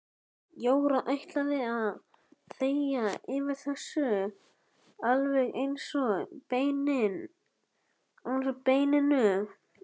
Jóra ætlaði að þegja yfir þessu alveg eins og beininu.